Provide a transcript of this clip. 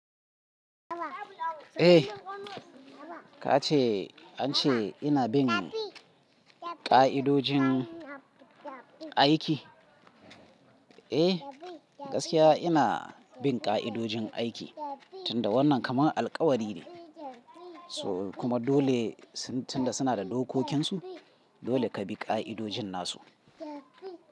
Eh, ka ce an ce ina bin ƙa'idojin aiki? Eh, gaskiya ina bin ƙa'idojin aiki. Tunda wannan kamar alƙawari ne, so kuma dole tun da suna da dokokinsu. Dole ka bi ƙa'idojin nasu.